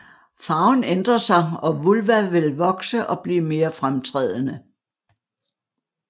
Farven ændrer sig og vulva vil vokse og blive mere fremtrædende